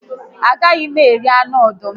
A gaghị m eri anụ ọdụm